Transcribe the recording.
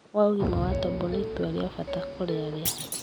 wa ũgima wa tombo nĩ itua rĩa bata kũrĩ arĩa